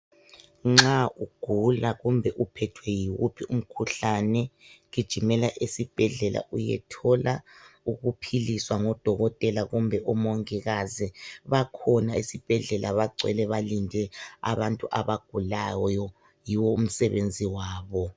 Nxa ugula kumbe uphethwe yiwuphi umkhuhlane, gijimela esibhedlela uyethola ukuphiliswa ngodokotela kumbe omongikazi. Bakhona ezibhedlela bagcwele balinde abantu abagulawuyo, yiwo umsebenzi wabo.